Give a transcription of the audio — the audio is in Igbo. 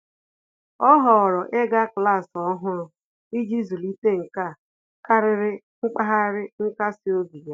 Ọ́ họ̀ọ̀rọ̀ ị́gá klas ọ́hụ́rụ́ iji zụ́líté nkà kàrị́rị́ mpaghara nkasi obi ya.